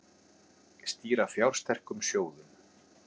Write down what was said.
Stýra fjársterkum sjóðum